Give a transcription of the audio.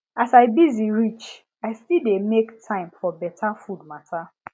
as i busy reach i still dey make time for better food matter